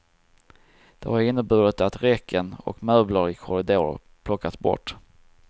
Det har inneburit att räcken och möbler i korridorer plockats bort.